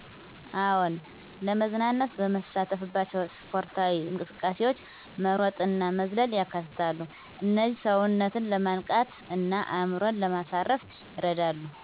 አዎን፣ ለመዝናናት በምሳተፍባቸው ስፖርታዊ እንቅስቃሴዎች መሮጥእና መዝለል ያካትታሉ። እነዚህ ሰውነትን ለማንቃት እና አእምሮን ለማሳረፍ ይረዳሉ።